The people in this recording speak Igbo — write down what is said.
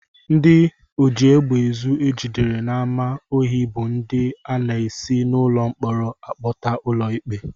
Ndị ojiegbeezu e jidere n'ámá ohi bụ ndị a na-esi n'ụlọ mkpọrọ akpọta ụlọikpe